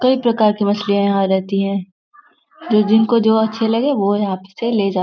कई प्रकार की मछलिया यहाँ रहती हैं जो जिनको जो अच्छी लगे वो यहाँ से ले जा--